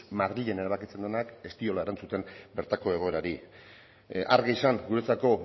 madrilen erabakitzen denak ez diola erantzuten bertako egoerari argi izan guretzako